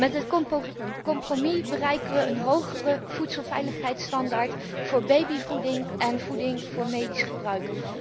Met het compromis bereiken we een hogere voedselveiligheisstandaard voor babyvoeding en voeding voor medisch gebruik.